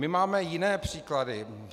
My máme jiné příklady.